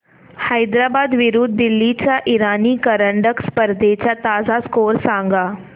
हैदराबाद विरुद्ध दिल्ली च्या इराणी करंडक स्पर्धेचा ताजा स्कोअर सांगा